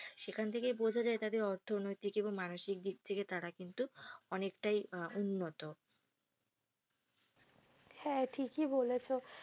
সেখান থেকেই বোঝা যায় তাদের অর্থনৈতিক এবং মানসিক তারা কিন্তু অনেকটাই আহ উন্নত হ্যা ঠিকই বলেছ।